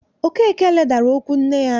Okeke ledara okwu nne ya anya